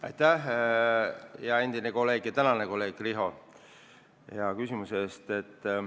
Aitäh, hea endine kolleeg ja tänane kolleeg Riho, hea küsimuse eest!